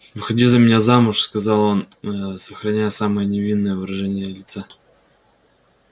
выходи за меня замуж сказал он ээ сохраняя самое невинное выражение лица